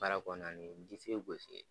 Baara kɔnɔna ni disi ye gosi ye.